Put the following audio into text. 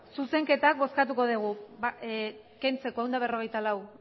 zuzenketa bozkatuko dugu kentzeko ehun eta berrogeita lau